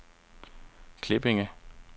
Klippinge